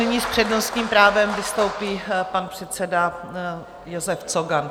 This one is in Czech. Nyní s přednostním právem vystoupí pan předseda Josef Cogan.